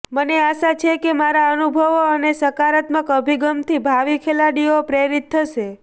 મને આશા છે કે મારા અનુભવ અને સકારાત્મક અભિગમથી ભાવિ ખેલાડીઓ પ્રેરિત થશે